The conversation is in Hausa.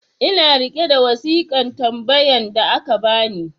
ina riƙe da wasikan tambayan da aka bani